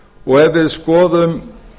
og ef við skoðum